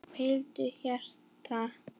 Hvíldu hjarta.